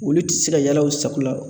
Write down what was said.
Olu tɛ se ka yaala u sago la.